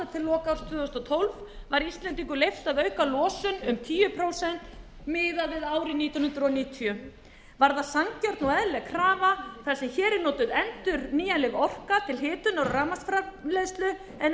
tvö þúsund og tólf var íslendingum leyft að auka losun um tíu prósent miðað við árið nítján hundruð níutíu var það sanngjörn og eðlileg krafa þar sem hér er notuð endurnýjanleg orka til hitunar og rafmagnsframleiðslu en ekki